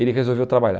Ele resolveu trabalhar.